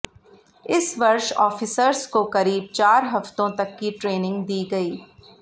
इस वर्ष ऑफिसर्स को करीब चार हफ्तों तक की ट्रेनिंग दी गई